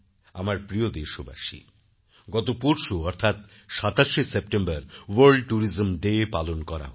আমার প্রিয় দেশবাসী গত পরশু অর্থাৎ ২৭সেপ্টেম্বর ওয়ার্ল্ড ট্যুরিজম ডে পালন করা হল